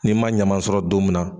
Ni ma ɲaman sɔrɔ don minna